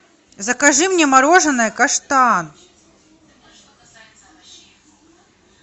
закажи мне мороженое каштан